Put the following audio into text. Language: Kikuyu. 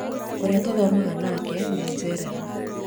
ũrĩa tũthomaga nake nĩ ajerera